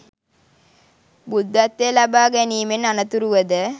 බුද්ධත්වය ලබා ගැනීමෙන් අනතුරුව ද